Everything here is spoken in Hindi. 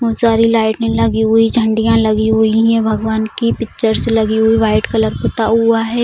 बहुत सारी लइटे लगी हुई झाड़ियां लगी हुई हैं भगवान की पिक्चर्स लगी हुई वाइट कलर पुता हुआ है |